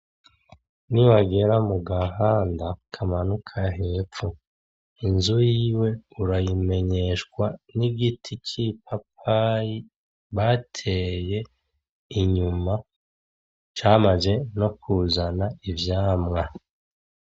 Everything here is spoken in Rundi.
Ni wagera mu gahanda kamanuka hepfo, inzu yiwe urayimenyeshwa n'igiti c'ipapayi bateye inyuma, camaze no kuzana ivyamwa.